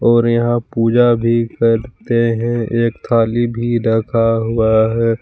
और यहां पूजा भी करते हैं एक थाली भी रखा हुआ है।